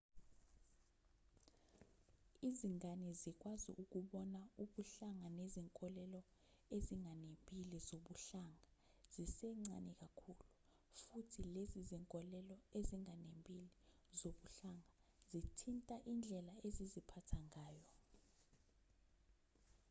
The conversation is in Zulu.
izingane zikwazi ukubona ubuhlanga nezinkolelo ezinganembile zobuhlanga zisencane kakhulu futhi lezi zinkolelo ezinganembile zobuhlanga zithinta indlela eziziphatha ngayo